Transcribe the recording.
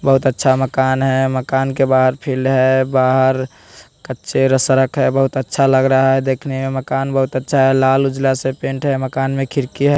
बहोत अच्छा मकान है मकान के बाहर फील्ड है बाहर कच्चे सड़क है बहोत अच्छा लग रहा है देखने में मकान बहोत अच्छा है लाल उजाला से पेंट है मकान में खिड़की है।